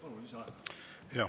Palun lisaaega.